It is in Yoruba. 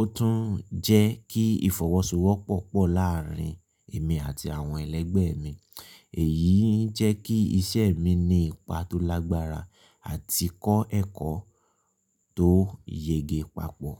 Ó tún ń jẹ́ kí ìfọwọ́sowọ́pọ̀ pọ̀ láàárín èmi àti àwọn ẹlẹgbẹ́ mi. Èyí ń jẹ́ kí iṣẹ́ mi ní ipa tó lágbára àti kọ́ ẹ̀kọ́ tó yege papọ̀.